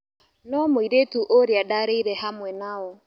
No mũirĩtu ũrĩa ndarĩire hamwe nao.